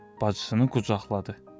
Bacısının qucaqladı.